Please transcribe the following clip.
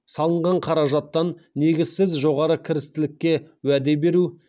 салынған қаражаттан негізсіз жоғары кірістілікке уәде беру